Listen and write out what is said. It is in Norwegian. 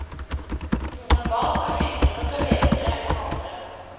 Noen barn er flinkere til å leke enn andre.